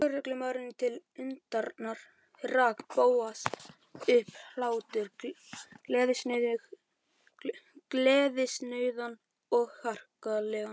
Lögreglumanninum til undrunar rak Bóas upp hlátur, gleðisnauðan og harkalegan.